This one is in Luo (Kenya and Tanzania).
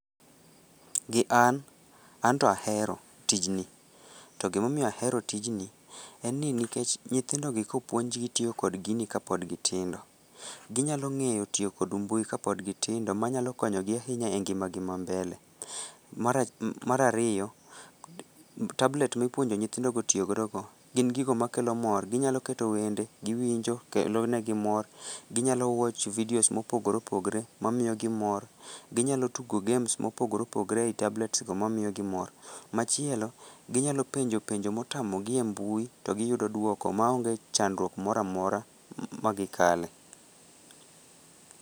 Gi an, anto ahero tijni to gima omiyo ahero tijni en ni nikech nyithindogi kopuonjgi tiyo kod gini kapod gitindo, ginyalo ng'eyo tiyo kod mbui kapod gitindo manyalo konyo gi ahinya e ngimagi mambele. Mar ariyo, tablet mipuonjo nyithindogo tiyo godono, gin gigo makelo mor, ginyalo keto wende giwinjo to kelonegi mor, ginyalo watch videos mopogore opogore mamiyogi mor, ginyalo tugo games mopogore opogore ei tablets go mamiyogi mor. Machielo ginyalo penjo penjo motamogi e mbui to giyudo duoko maonge chandruok moro amora magikale